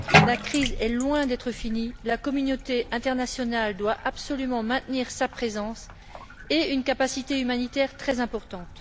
La crise est loin d'être finie. La communauté internationale doit absolument maintenir sa présence et une capacité humanitaire très importante.